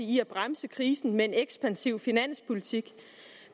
i at bremse krisen med en ekspansiv finanspolitik